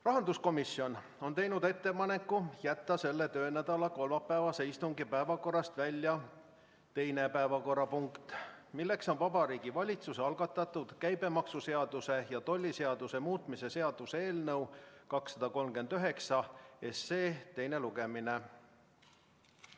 Rahanduskomisjon on teinud ettepaneku jätta selle töönädala kolmapäevase istungi päevakorrast välja teine päevakorrapunkt, Vabariigi Valitsuse algatatud käibemaksuseaduse ja tolliseaduse muutmise seaduse eelnõu 239 teine lugemine.